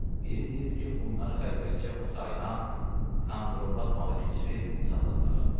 Biri deyirdi ki, bunlar xəlvətcə o taydan kandrobat malı keçirib satırlar.